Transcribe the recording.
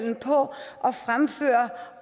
er på at fremføre